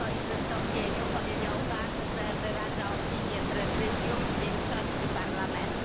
W swoim wystąpieniu powiedział Pan, że wyraża opinię Prezydium i większości Parlamentu.